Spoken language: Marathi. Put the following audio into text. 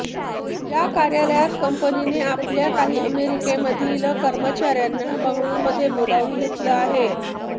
या कार्यालयात कंपनीने आपल्या काही अमेरिकेमधील कर्मचाऱ्यांना बंगळुरुमध्ये बोलावून घेतलं आहे